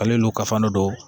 Ale n'u ka fandon